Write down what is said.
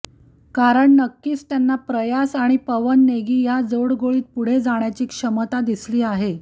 कारण नक्कीच त्यांना प्रयास आणि पवन नेगी ह्या जोडगोळीत पुढे जाण्याची क्षमता दिसली आहे